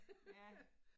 Ja